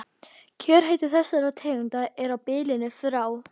Kjörhiti þessara tegunda er á bilinu frá